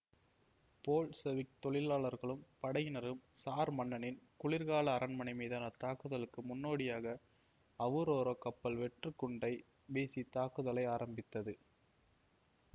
Bolshevik தொழிலாளர்களும் படையினரும் tsar மன்னனின் குளிர்கால அரண்மனை மீதான தாக்குதலுக்கு முன்னோடியாக அவுரோரா கப்பல் வெற்று குண்டை வீசி தாக்குதலை ஆரம்பித்தது